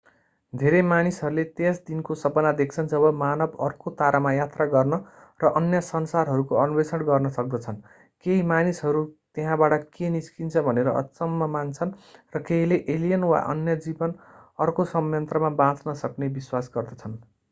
धेरै मानिसहरूले त्यस दिनको सपना देख्छन् जब मानव अर्को तारामा यात्रा गर्न र अन्य संसारहरूको अन्वेषण गर्न सक्दछन् केही मानिसहरू त्यहाँबाट के निस्किन्छ भनेर अचम्म मान्छन् र केहीले एलियन वा अन्य जीवन अर्को संयन्त्रमा बाँच्न सक्ने विश्वास गर्दछन्